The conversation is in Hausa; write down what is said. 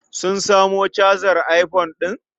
Sun samo cajar iphone ɗin?